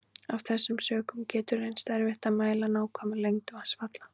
Af þessum sökum getur reynst erfitt að mæla nákvæma lengd vatnsfalla.